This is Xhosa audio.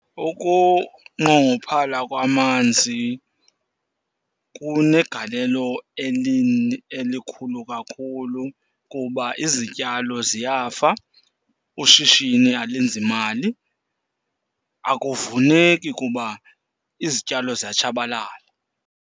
Ukunqongophala kwamanzi kunegalelo elikhulu kakhulu kuba izityalo ziyafa, ushishini alenzi mali. Akuvuneki kuba izityalo ziya tshabalala.